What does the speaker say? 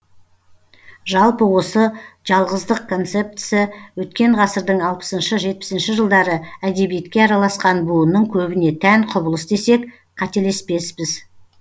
жалпы осы жалғыздық концептісі өткен ғасырдың алпысыншы жетпісінші жылдары әдебиетке араласқан буынның көбіне тән құбылыс десек қателеспеспіз